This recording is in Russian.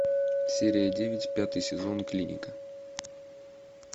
серия девять пятый сезон клиника